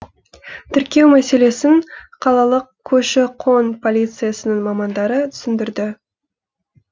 тіркеу мәселесін қалалық көші қон полициясының мамандары түсіндірді